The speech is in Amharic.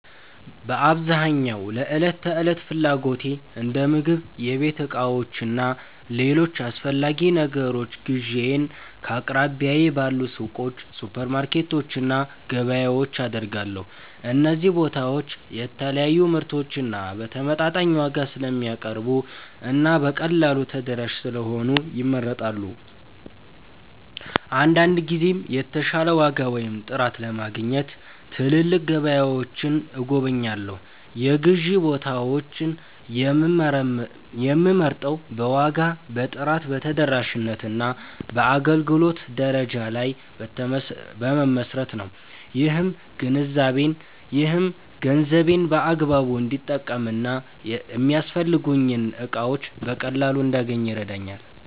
በአብዛኛው ለዕለት ተዕለት ፍላጎቶቼ እንደ ምግብ፣ የቤት ዕቃዎች እና ሌሎች አስፈላጊ ነገሮች ግዢዬን ከአቅራቢያዬ ባሉ ሱቆች፣ ሱፐርማርኬቶች እና ገበያዎች አደርጋለሁ። እነዚህ ቦታዎች የተለያዩ ምርቶችን በተመጣጣኝ ዋጋ ስለሚያቀርቡ እና በቀላሉ ተደራሽ ስለሆኑ ይመረጣሉ። አንዳንድ ጊዜም የተሻለ ዋጋ ወይም ጥራት ለማግኘት ትላልቅ ገበያዎችን እጎበኛለሁ። የግዢ ቦታዬን የምመርጠው በዋጋ፣ በጥራት፣ በተደራሽነት እና በአገልግሎት ደረጃ ላይ በመመስረት ነው። ይህም ገንዘቤን በአግባቡ እንድጠቀም እና የሚያስፈልጉኝን እቃዎች በቀላሉ እንዳገኝ ይረዳኛል።